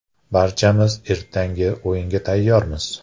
Barchamiz ertangi o‘yinga tayyormiz.